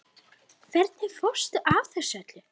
Hvernig fórstu að þessu öllu?